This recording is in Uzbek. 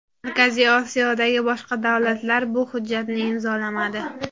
Markaziy Osiyodagi boshqa davlatlar bu hujjatni imzolamadi.